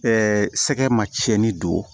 sɛgɛn ma cɛni don